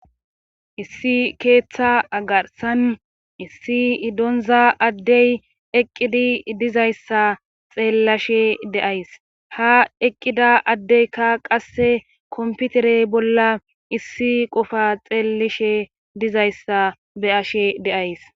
Issi keeththa agarsan issi donza addey eqqidi dizayssa xeellashe deays ha eqqida addeykka qasse komputerey bolla issi qofa xeellishe dizayssa beyashe de'ays.